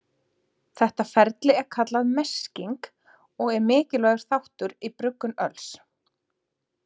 Þetta ferli er kallað mesking og er mikilvægur þáttur í bruggun öls.